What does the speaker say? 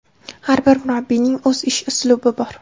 Har bir murabbiyning o‘z ish uslubi bor.